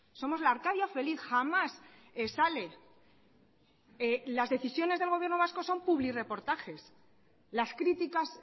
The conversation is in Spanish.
somos la arcadia feliz jamás sale las decisiones del gobierno vasco son publirreportajes las críticas